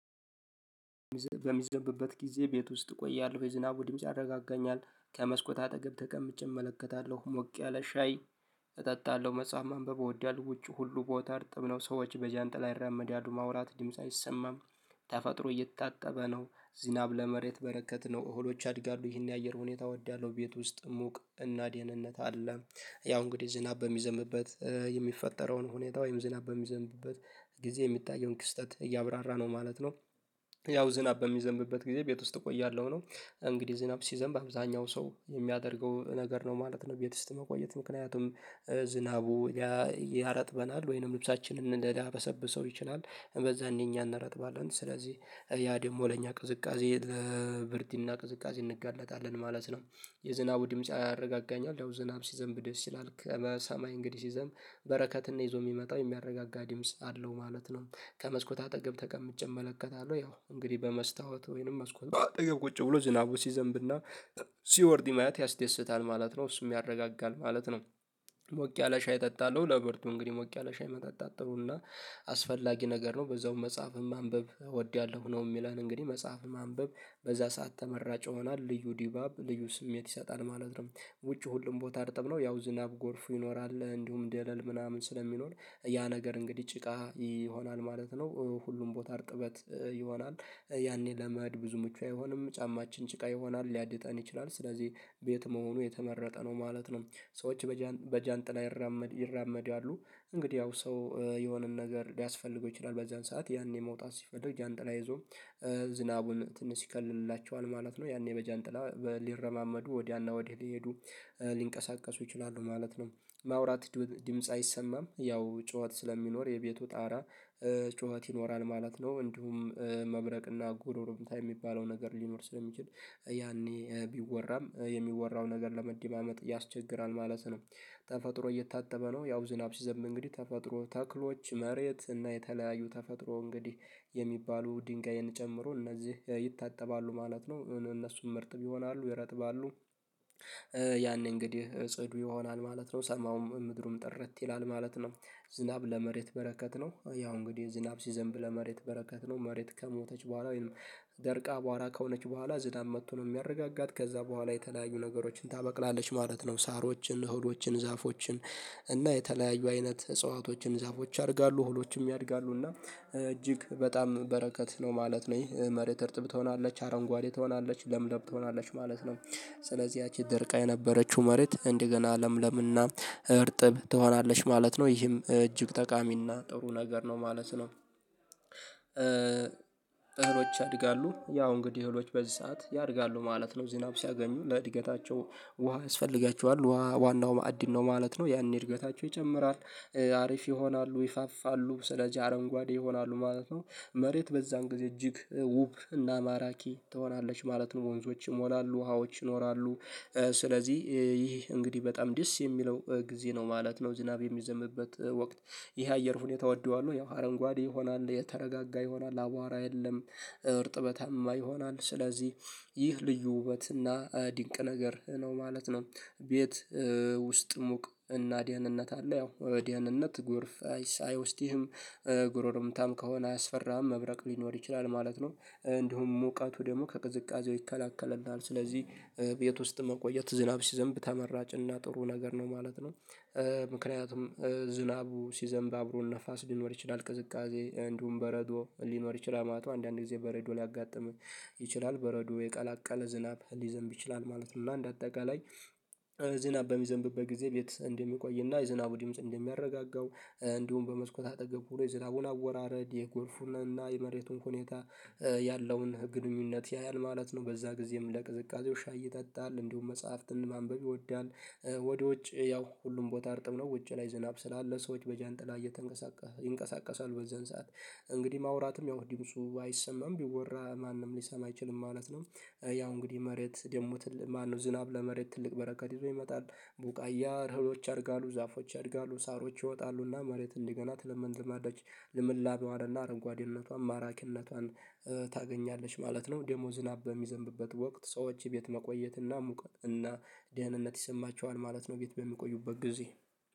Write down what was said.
በሚዘንብበት ጊዜ ቤት ውስጥ ቆያለሁ የዝናቡ ድምጽ ያረጋጋኛል ከመስኮት አጠገብ ተቀምጬ እመለከታለሁ ሞቅ ያለ ሻይ መጽሐፍ ማንበብ እወዳለሁ። ውጪ ሁሉ ቦታ አርጥብ ነው ሰዎች በጃንጥላ ይራመዳሉ ማውራት ድምጽ አይሰማም። ተፈጥሮ እየታጠበ ነው። ዝናብ ለመሬት በረከት ነው እህሎች ያድጋሉ ይህን የአየር ሁኔታ እወዳለው ቤት ውስጥ ሙቅ እና ዴሄህንነት አለ። ያው እንግዲህ ዝናብ በሚዘምበት የሚፈጠረውን ሁኔታ ወይም ዝናብ በሚዘምብበት ጊዜ የሚታየውን ክስተት እያብራራ ነው ማለት ነው። ያው ዝናብ በሚዘንብበት ጊዜ ቤት ውስጥ እቆያለሁ ነው። እንግዲህ ዝናብ ሲዘንብ በአብዛኛው ሰው የሚያደርገው ነገር ነው ማለት ቤት ውስጥ መቆየት ምክንያቱም ዝናቡ ያረጥበናል ወይንም ልብሳችንን እንዳበሰብሰው ይችላል። በዛ እንኛኛ እንረጥባለን ስለዚህ ያ ደግሞ ለኛ ቅዝቃዜ ብርድ እና ቅዝቃዜ እንጋለጣለን ማለት ነው። የዝናቡ ድምጻ ያረጋጋኛል ያው ዝናብ ሲዘንብ ደስ ይላል ከመሰማይ እንግዲህ ሲዘም በረከትን ይዞ ነው የሚመጣው የሚያረጋጋ ድምጽ አለው ማለት ነው። ከመስኮት አጠገብ ተቀምጬ እመለከታለሁ ያው እንግዲህ በመስታወት ወይንም መስኮት አጠገብ ቁጭ ብሎ ዝናቡ ሲዘንብና ሲወርድ ይማያት ያስደስታል ማለት ነው እሱም ያረጋጋል ማለት ነው። ሞቅ ያለ ሻይ እጠጣለሁ ለብርዱ እንግዲህ ሞቅ ያለ ሻይ መጠጣጣት ጥሩና አስፈላጊ ነገር ነው። በዛውም መጽሐፍም ማንበብ እወዳለሁ ነው የሚለን እንግዲህ መጽሐፍ ማንበብ በዛ ሰዓት ተመራጭ ይሆኗል ልዩ ዲባብ ልዩ ስሜት ይሰጣል ማለት ነው። ውጪ ሁሉም ቦታ እርጠብ ነው ያው ዝናብ ጎርፉ ይኖራል እንዲሁም ደለል ምናምን ስለሚኖር ያ ነገር እንግዲህ ጭቃ ይሆናል ማለት ነው። ሁሉም ቦታ አርጥበት ይሆናል ያኔ ለመሄድ ብዙ ምቹ አይሆንም ጫማችን ጭቃ ይሆናል ሊያድጠን ይችላል ስለዚህ ቤት መሆኑ የተመረጠ ነው። ማለት ነው ሰዎች በጃንጥላ ይራመድ ይራመዳሉ እንግዲህ ያው ሰው የሆነን ነገር ሊያስፈልገው ይችላል በዚያን ሰዓት ያኔ መውጣት ሲፈልግ ጃንጥላ ይዞ ዝናቡን ትንሽ ይከልልላቸዋል ማለት ነው ያኔ በጃንጥላ ሊረማመዱ ወዲያና ወዲህ ሊሄዱ ሊንቀሳቀሱ ይችላሉ ማለት ነው። ማውራት ድምጽ አይሰማም ያው ጩኸት ስለሚኖር የቤቱ ጣራ ጩኸት ይኖራል ማለት ነው እንዲሁም መብረቅና ጉሮሮምታ የሚባለው ነገር ሊኖር ስለሚችል ያኔ ቢወራም የሚወራው ነገር ለመደማመጥ ያስቸግራል ማለት ነው። ተፈጥሮ እየታጠበ ነው ያው ዝናብ ሲዘንብ እንግዲህ ተፈጥሮ ተክሎች መሬት እና የተለያዩ ተፈጥሮ እንግዲህ የሚባሉ ድንጋይን ጨምሮ እነዚህ ይታጠባሉ ማለት ነው። እነሱም ርጥብ ይሆናሉ ይረጥባሉ ያኔ እንግዲህ ጽዱ ይሆናል ማለት ነው ሰማውም ምድሩም ጥርት ይላል ማለት ነው። ዝናብ ለመሬት በረከት ነው። ያው እንግዲህ ዝናብ ሲዘንብ ለመሬት በረከት ነው መሬት ከሞተች በኋላ ወይንም ደርቃ አቧራ ከሆነች በኋላ ዝናብ መጥቶ ነው የሚያረጋጋት ከዛ በኋላ የተለያዩ ነገሮችን ታበቅላለች ማለት ነው። ሳሮችን እህሎችን ዛፎችን እና የተለያዩ አይነት እጽዋቶችን ዛፎች ያድጋሉ እህሎችም ያድጋሉ እና እጅግ በጣም በረከት ነው ማለት ይህ መሬት እርጥብ ትሆናለች አረንጓዴ ትሆናለች ለምለም ትሆናለች ማለት ነው። ስለዚህ ያቺ ድርቃ የነበረችው መሬት እንደገና ለምለምና እርጥብ ትሆናለች ማለት ነው ይህም እጅግ ጠቃሚና ጥሩ ነገር ነው ማለት ነው። እህሎች ያድጋሉ ያው እንግዲህ እህሎች በዚህ ሰዓት ያድጋሉ ማለት ነው ዝናብ ሲያገኙ ለእድገታቸው ውሃ ያስፈልጋቸዋል ዉሃ ዋናው ማዕድን ነው ማለት ነው ያኔ እድገታቸው ይጨምራል አሪፍ ይሆናሉ ይፋፋሉ ስለዚህ አረንጓዴ ይሆናሉ ማለት ነው። መሬት በዛን ጊዜ እጅግ ውብ እና ማራኪ ትሆናለች ማለት ነው ወንዞች ይሞላሉ ውሃዎች ይኖራሉ ስለዚህ ይህ እንግዲህ በጣም ደስ የሚለው ጊዜ ነው ማለት ነው። ዝናብ የሚዘምበት ወቅት ይሄ አየር ሁኔታ እወደዋለሁ ያው አረንጓዴ ይሆናል የተረጋጋ ይሆናል አቧራ የለም እርጥበታማ ይሆናል ስለዚህ ይህ ልዩ ውበት እና ድንቅ ነገር ነው ማለት ነው። ቤት ውስጥ ሙቅ እና ደህንነት አለ ያው ደህንነት ጎርፍ አይወስድህም ጉሩሩምታም ከሆነ አያስፈራሀም መብራቅ ሊኖር ይችላል ማለት ነው። እንዲሁም ሙቃቱ ደግሞ ከቅዝቃዜው ይከላከልናል ስለዚህ ቤት ውስጥ መቆየት ዝናብ ሲዘንብ ተመራጭና ጥሩ ነገር ነው ማለት ነው። ምክንያቱም ዝናቡ ሲዘንብ አብሮ ነፋስ ሊኖር ይችላል ቅዝቃዜ እንዲሁም በረዶ ሊኖር ይችላል ማለት አንዳንድ ጊዜ በረዶ ሊያጋጥም ይችላል በረዶ የቀላቀለ ዝናብ ሊዘንብ ይችላል ማለት ነው። እና እንደ አጠቃላይ ዝናብ በሚዘንብበት ጊዜ ቤት እንደሚቆይ እና የዝናቡ ድምጽ እንደሚያረጋጋው እንዲሁም በመስኮት አጠገብ ሆኖ የዝናቡን አወራረድ የጎርፉንና የመሬቱን ሁኔታ ያለውን ግንኙነት ያያል ማለት ነው። በዛ ጊዜም ለቅዝቃዜው ሻይ ይጠጣል እንዲሁም መጽሐፍትን ማንበብ ይወዳል። ወዲወጭ ያው ሁሉም ቦታ እርጥብ ነው ውጭ ላይ ዝናብ ስላለ ሰዎች በጃንጥላ እየተንቀሳቀሰ ይንቀሳቀሳል በዛን ሰዓት እንግዲህ ማውራትም ያው ዲምጹ አይሰማም ቢወራ ማንም ሊሰማ አይችልም ማለት ነው። ያው እንግዲህ መሬት ደግሞ ማነው ዝናብ ለመሬት ትልቅ በረከት ይዞ ይመጣል ቡቃያ እህሎች ያድጋሉ ዛፎች ያድጋሉ ሳሮች ይወጣሉና መሬት እንዲገና ትለምልማለች ልምላሜዋና አረጓዴነቷን ማራኪነቷን ታገኛለች ማለት ነው። ደሞ ዝናብ ሚዘንብበት ወቅት ሰዎች ቤት መቆየት እና ሙቀት እና ደህንነት ይሰማቸዋል ማለት ነው። ቤት በሚቆዩበት ጊዜ